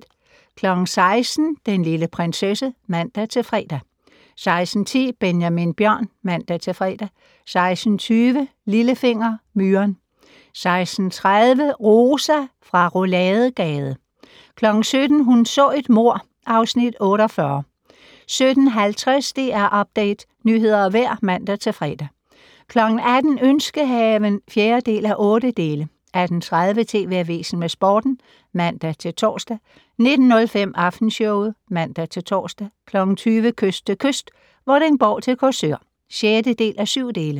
16:00: Den lille prinsesse (man-fre) 16:10: Benjamin Bjørn (man-fre) 16:20: Lillefinger - Myren 16:30: Rosa fra Rouladegade 17:00: Hun så et mord (Afs. 48) 17:50: DR Update - nyheder og vejr (man-fre) 18:00: Ønskehaven (4:8) 18:30: TV Avisen med Sporten (man-tor) 19:05: Aftenshowet (man-tor) 20:00: Kyst til kyst - Vordingborg til Korsør (6:7)